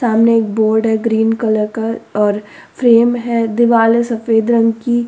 सामने एक बोर्ड है ग्रीन कलर का और फ्रेम है दिवाल है सफेद रंग की।